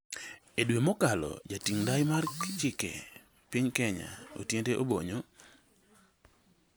E dwe mokalo, Jating' ndai mar Chike e piny Kenya, Otiende Obonyo